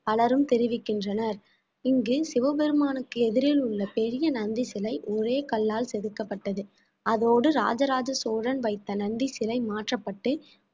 பலரும் தெரிவிக்கின்றனர் இங்கு சிவபெருமானுக்கு எதிரில் உள்ள பெரிய நந்தி சிலை ஒரே கல்லால் செதுக்கப்பட்டது அதோடு இராசராச சோழன் வைத்த நந்தி சிலை மாற்றப்பட்டு